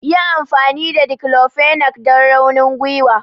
Yi amfani da declofenac don raunin gwiwa!